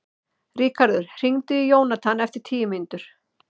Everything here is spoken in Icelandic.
Ríkharður, hringdu í Jónathan eftir tíu mínútur.